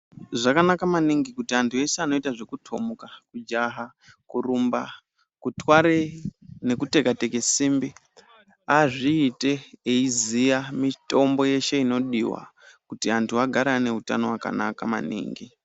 Zvakanaka maningi kuti antu eshe anoyita zvekutomuka ,kujaha, kurumba, kutware nekuteka-teka simbi, azviyite eyiziya mitombo yeshe inodiwa, kuti antu agare aneutano hwakanaka maningi.